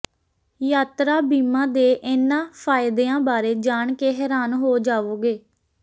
ਯਾਤਰਾ ਬੀਮਾ ਦੇ ਇਨ੍ਹਾਂ ਫਾਇਦਿਆਂ ਬਾਰੇ ਜਾਣ ਕੇ ਹੈਰਾਨ ਹੋ ਜਾਵੋਗੇ